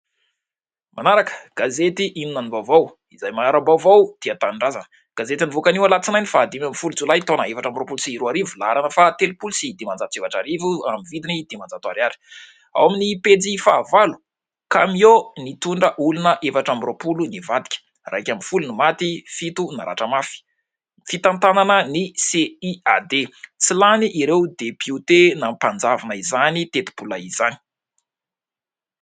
Manaraka gazety ''Inona no vaovao'' izay mahara-baovao tia tanindrazana. Gazety nivoaka anio Alatsinainy fahadimy ambin'ny folo jolay taona efatra amby roapolo sy roa arivo laharana faha telompolo sy dimanjato sy efatra arivo amin'ny vidiny dimanjato ariary, ao amin'ny pejy fahavalo kamiô nitondra olona efatra amby roapolo nivadika iraika ambin'ny folo ny maty, fito naratra mafy, fitantanana ny ''CIAD'' tsy lany ireo depiote nampanjavona izany tetibola izany.